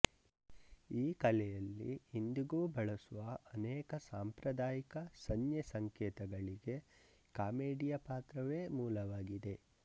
ಈ ಕಲೆಯಲ್ಲಿ ಇಂದಿಗೂ ಬಳಸುವ ಅನೇಕ ಸಾಂಪ್ರದಾಯಿಕ ಸಂಜ್ಞೆ ಸಂಕೇತಗಳಿಗೆ ಕಾಮೆಡಿಯಾ ಪ್ರಕಾರವೇ ಮೂಲವಾಗಿದೆ